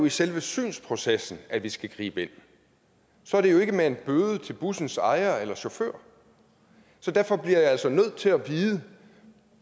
i selve synsprocessen at vi skal gribe ind så er det jo ikke med en bøde til bussens ejer eller chauffør derfor bliver jeg altså nødt til at vide